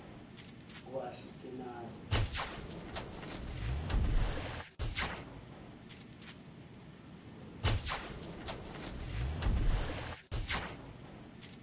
ngoashikenaze